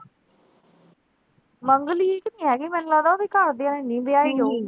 ਮੰਗਲੀਕ ਨੀਂ ਹੈਗੀ, ਮੈਨੂੰ ਲਗਦਾ ਉਹਦੇ ਘਰਦਿਆਂ ਨੇ ਨੀਂ ਵਿਆਹੀ ਹੋਈ